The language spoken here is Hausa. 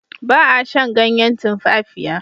Ba a shan ganyen tumfafiya.